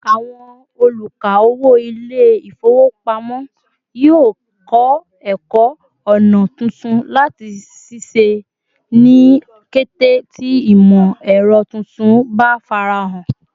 Àwọn oluka-owo Ilé-ifowopamo yio kọ ẹkọ ọna tuntun láti ṣiṣẹ́ ni kété tí imọ-ẹrọ tuntun bá farahan